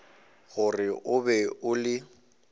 gore o be o le